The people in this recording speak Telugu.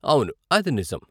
అవును, అది నిజం.